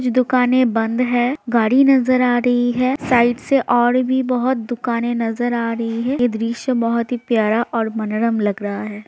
दुकाने बंद है गाड़ी नज़र आ रही है साइड से और भी दुकान नज़र आ रही हैं यह दृश्य बहुत ही प्यार और मनोरम लग रहा है।